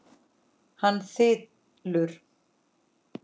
Hann þylur